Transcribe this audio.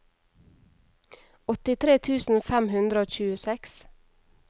åttitre tusen fem hundre og tjueseks